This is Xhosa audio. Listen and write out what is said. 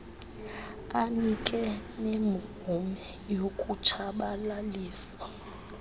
anike nemvume yokutshabalalisa